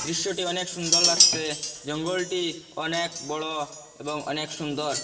দিশ্যটি অনেক সুন্দর লাগসে জঙ্গলটি অনেক বড় এবং অনেক সুন্দর।